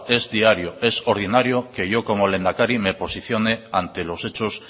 es diario es ordinario que yo como lehendakari me posicione ante los hechos